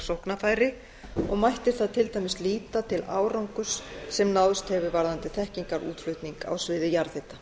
sóknarfæri og mætti þar til dæmis líta til árangurs sem náðst hefur varðandi þekkingarútflutning á sviði jarðhita